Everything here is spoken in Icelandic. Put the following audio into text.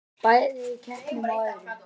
Bæði í keppnum og öðru.